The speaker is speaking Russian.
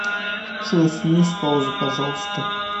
джой сними с паузы пожалуйста